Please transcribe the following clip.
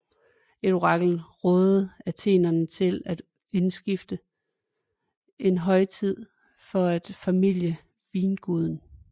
Et orakel rådede athenerne til at indstifte en højtid for at formilde vinguden